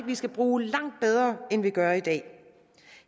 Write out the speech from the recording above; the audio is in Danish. skal bruge langt bedre end vi gør i dag